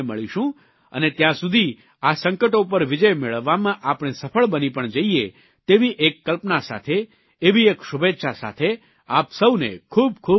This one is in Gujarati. અને ત્યાં સુધી આ સંકટો પર વિજય મેળવવામાં આપણે સફળ બની પણ જઇએ તેવી એક કલ્પના સાથે એવી એક શુભેચ્છા સાથે આપ સૌને ખૂબ ખૂબ ધન્યવાદ